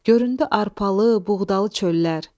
Göründü arpalı, buğdalı çöllər,